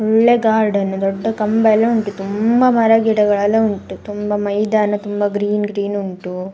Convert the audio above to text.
ಒಳ್ಳೆ ಗಾರ್ಡನು ದೊಡ್ಡ ಕಂಬ ಎಲ್ಲಾ ಉಂಟು ತುಂಬಾ ಮರಗಿಡಗಳೆಲ್ಲಾ ಉಂಟು ತುಂಬಾ ಮೈದಾನ ತುಂಬಾ ಗ್ರೀನ್ ಗ್ರೀನ್ ಉಂಟು.